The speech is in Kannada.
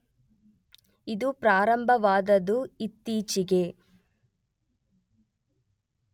ಇದು ಪ್ರಾರಂಭವಾದದ್ದು ಇತ್ತೀಚೆಗೆ.